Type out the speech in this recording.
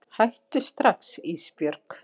Hættu strax Ísbjörg.